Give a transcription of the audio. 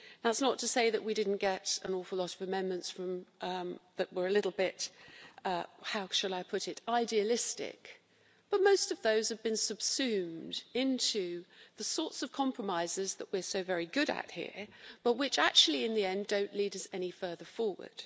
That is not to say that we didn't get an awful lot of amendments that were a little bit, how shall I put it, idealistic', but most of those have been subsumed into the sorts of compromises that we are so very good at here, but which actually in the end, don't lead us any further forward.